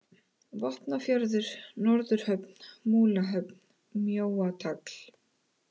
Vopnafjörður, Norðurhöfn, Múlahöfn, Mjóatagl